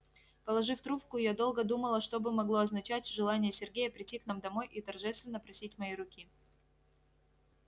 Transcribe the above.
положив трубку я долго думала что бы могло означать желание сергея прийти к нам домой и торжественно просить моей руки